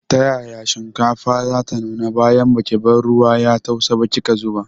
Ta yaya shinkafar zata nuna bayan baki bar ruwan ya tausa ba kika zuba.